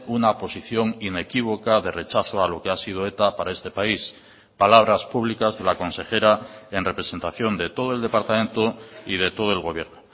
una posición inequívoca de rechazo a lo que ha sido eta para este país palabras públicas de la consejera en representación de todo el departamento y de todo el gobierno